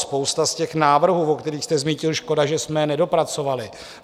Spousta z těch návrhů, o kterých jste mluvil - škoda, že jsme je nedopracovali.